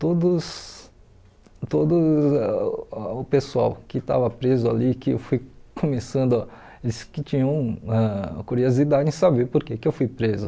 Todos todo o pessoal que estava preso ali, que eu fui começando, eles que tinham ãh curiosidade em saber porque eu fui preso.